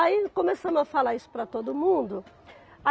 Aí começamos a falar isso para todo mundo.